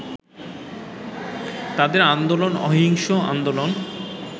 তাদের আন্দোলন অহিংস আন্দোলন